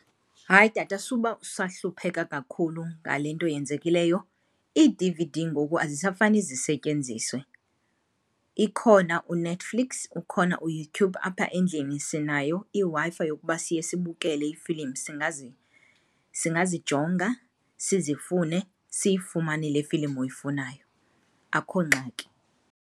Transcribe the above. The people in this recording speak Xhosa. Hayi tata, subasahlupheka kakhulu ngale nto yenzekileyo, ii-D_V_D ngoku azisafani sisetyenziswe. Ikhona u-Netflix, ukhona uYouTube, apha endlini sinayo iWi-Fi yokuba siye sibukele iifilimu. Singazijonga, sizifune siyifumane le filimu uyifunayo, akho ngxaki.